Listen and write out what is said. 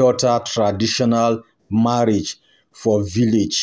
daughter traditional marriage for village